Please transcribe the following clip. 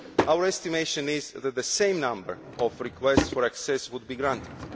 Our estimation is that the same number of requests for access would be granted.